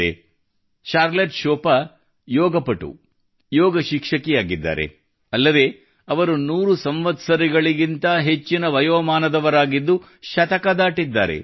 Charlotte Chopin Charlotte Chopin ಯೋಗಾಪಟು ಯೋಗ ಶಿಕ್ಷಕಿವಾಗಿದ್ದಾರೆ ಅಲ್ಲದೆ ಅವರು 100 ಸಂವತ್ಸರಗಳಿಗಿಂತ ಹೆಚ್ಚಿನ ವಯೋಮಾನದವರಾಗಿದ್ದು ಶತಕ ದಾಟಿದ್ದಾರೆ